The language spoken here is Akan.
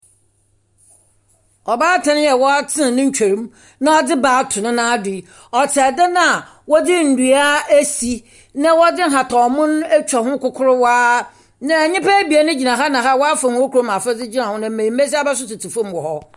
Ɔbaatan a w'atsen ne ntwow mu na ɔdze ba ato nenan do yi ,ɔtse edan a wɔdze ndua esi na wɔdze ahataw mom etwa ho kokorowaa. Na nyipa ebien gyina ha na ha a wafa wɔn kurom afadze, na mmenyin besiaba so tsetse fom hɔ.